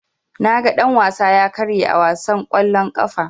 Naga dan-wasa ya karye a wasan kwallon ƙafa.